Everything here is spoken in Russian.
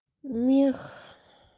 мех